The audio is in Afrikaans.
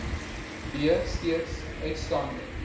b steeds uitstaande